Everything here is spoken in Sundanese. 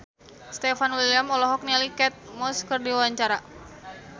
Stefan William olohok ningali Kate Moss keur diwawancara